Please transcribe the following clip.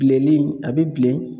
Bileli in a bi bilen